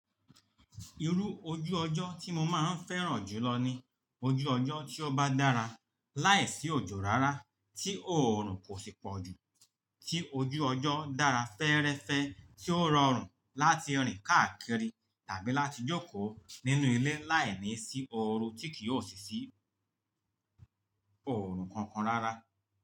Irú ojú ọjọ́ tí mo máa ń fẹ́ràn jùlọ ni ojú ọjọ́ tí ó bá dára láìsí òjò rárá, tí oòrùn kò sì pọ̀jù, tí ojú ọjọ́ dára fẹ́ẹ́rẹ́fẹ́ tí ó rọrùn láti rìn káàkiri tàbí láti jókòó nínú ilé láìní sí oru tí kì yóò ṣì sí oòrùn kankan rárá.